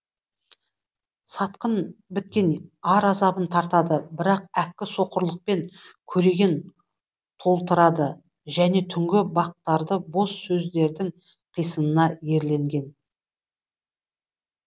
сатқын біткен ар азабын тартады бірақ әккі соқырлықпен көреген толтырады және түнгі бақтарды бос сөздердің қисынына ерленген